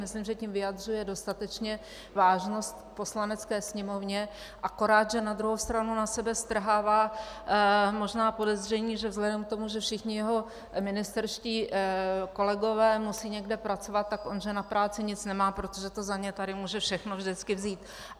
Myslím, že tím vyjadřuje dostatečně vážnost Poslanecké sněmovně, akorát že na druhou stranu na sebe strhává možná podezření, že vzhledem k tomu, že všichni jeho ministerští kolegové musí někde pracovat, tak on že na práci nic nemá, protože to za ně tady může všechno vždycky vzít.